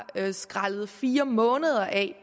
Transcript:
skrællet fire måneder af